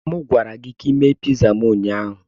A gwara m gị ka ị mee piza m ụnyaahụ.